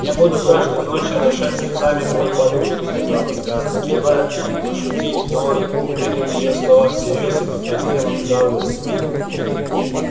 я буду каждую ночь орошать слезами мою подушку сказала скарлетт желая пошутить но он принял её слова всерьёз и покраснел от удовольствия